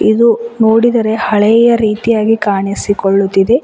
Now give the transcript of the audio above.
ಇದು ನೋಡಿದರೆ ಹಳೆಯ ರೀತಿಯಾಗಿ ಕಾಣಿಸಿಕೊಳ್ಳುತ್ತಿದೆ.